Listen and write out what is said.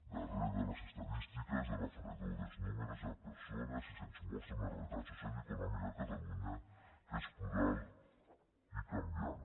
darrere de les estadístiques de la fredor dels números hi ha persones i se’ns mostra una realitat social i econòmica a catalunya que és plural i canviant